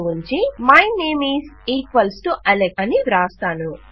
ను ఉంచి my name is equals to Alex అని వ్రాస్తాను